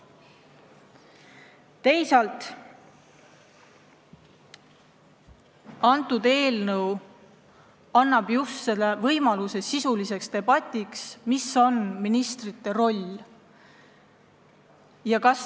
See eelnõu annab võimaluse pidada sisulist debatti, mis on ministrite roll.